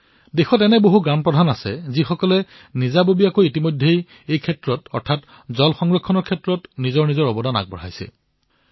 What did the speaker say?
সমগ্ৰ দেশত এনে বহু পঞ্চায়ত আছে যত জল সংৰক্ষণৰ দায়িত্ব লোৱা হৈছে